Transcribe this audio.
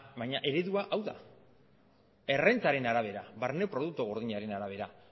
baina eredua hau da errentaren arabera barne produktu gordinaren arabera